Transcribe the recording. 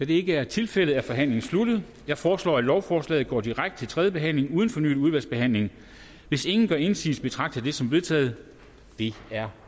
det ikke er tilfældet er forhandlingen sluttet jeg foreslår at lovforslaget går direkte til tredje behandling uden fornyet udvalgsbehandling hvis ingen gør indsigelse betragter jeg det som vedtaget det er